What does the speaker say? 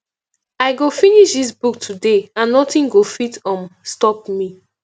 i go finish dis book today and nothing go fit um stop me